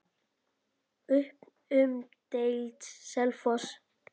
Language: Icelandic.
Upp um deild:, Selfoss